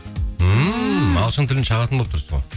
ағылшын тілін шағатын болып тұрсыз ғой